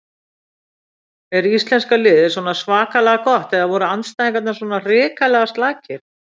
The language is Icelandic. Er íslenska liðið svona svakalega gott eða voru andstæðingarnir svona hrikalega slakir?